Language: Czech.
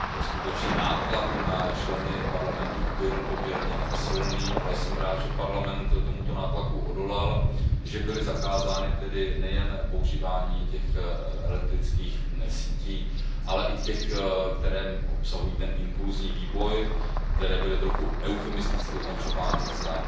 Skutečně nátlak na členy Parlamentu byl poměrně silný, ale jsem rád, že Parlament tomuto nátlaku odolal, že bylo zakázáno tedy nejen používání těch elektrických sítí, ale i těch, které obsahují impulsní výboj, které byly trochu eufemisticky označovány za